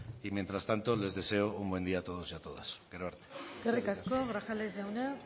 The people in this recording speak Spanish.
y mientras tanto les deseo un buen día a todos y a todas gero arte eskerrik asko grajales jauna